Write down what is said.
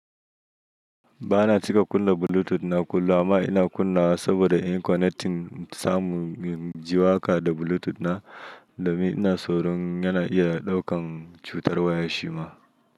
Ba na cika kunna Bluetooth na kullum ba, amma ina kunna saboda in connecting samu ji waka da Bluetooth na, domin ina tsoron yana iya ɗaukan cutar waya shima.